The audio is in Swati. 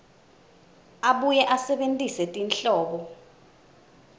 abuye asebentise tinhlobo